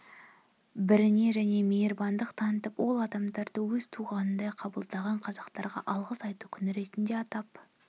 біріне және мейірбандық танытып ол адамдарды өз туғанындай қабылдаған қазақтарға алғыс айту күні ретінде атап